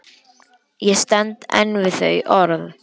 Ég stend enn við þau orð.